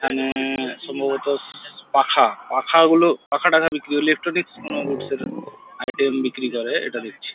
এখানে-এ সম্ভবত ই-স-স পাখা পাখাগুলো পাখা টাখা বিক্রি ইলেকট্রনিক্স কোন গুডস -এর আইটেম বিক্রি করে এটা দেখছি।